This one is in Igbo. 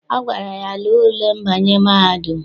Ọ gwara ya, lee ule mbanye mahadum!